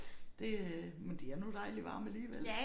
Det øh men de er nu dejlig varme alligevel